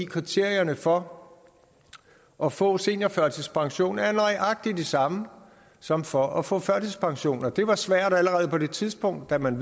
kriterierne for at få seniorførtidspension er nøjagtig de samme som for at få førtidspension og det var svært allerede på det tidspunkt da man